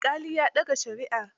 Alƙalin ya dage shari'ar.